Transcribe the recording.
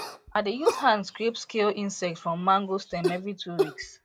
i dey use hand scrape scale insect from mango stem every two weeks